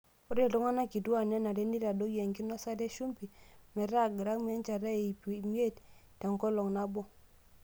Ore iltung'ana kituak nenare neitadoyio enkinosata e shumbi metaa gramu enchata o iip imiet tenkolong' nabo.